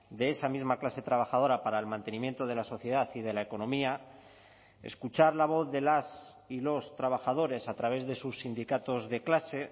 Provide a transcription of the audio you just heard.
de esa misma clase trabajadora para el mantenimiento de la sociedad y de la economía escuchar la voz de las y los trabajadores a través de sus sindicatos de clase